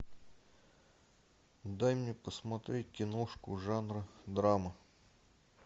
дай мне посмотреть киношку жанра драма